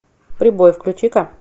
прибой включи ка